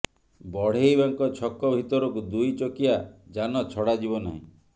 ବଢେଇବାଙ୍କ ଛକ ଭିତରକୁ ଦୁଇ ଚକିଆ ଯାନ ଛଡ଼ାଯିବ ନାହିଁ